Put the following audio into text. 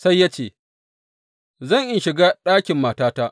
Sai ya ce, Zan in shiga ɗakin matata.